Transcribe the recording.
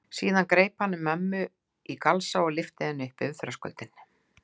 Síðan greip hann um mömmu í galsa og lyfti henni yfir þröskuldinn.